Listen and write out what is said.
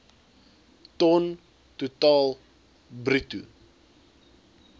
ton totaal bruto